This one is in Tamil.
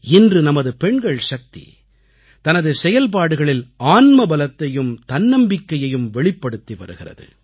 இன்று நமது பெண்கள் சக்தி தனது செயல்பாடுகளில் ஆன்மபலத்தையும் தன்னம்பிக்கையையும் வெளிப்படுத்தி வருகிறது